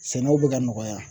Sɛnɛw bɛ ka nɔgɔya.